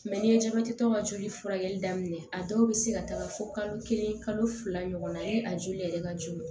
ni ye jabɛti tɔ ka joli furakɛli daminɛ a dɔw be se ka taaga fo kalo kelen kalo fila ɲɔgɔn na e a joli yɛrɛ ka jugu